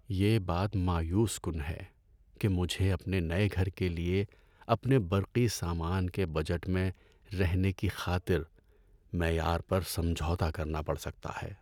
یہ بات مایوس کن ہے کہ مجھے اپنے نئے گھر کے لیے اپنے برقی سامان کے بجٹ میں رہنے کی خاطر معیار پر سمجھوتہ کرنا پڑ سکتا ہے۔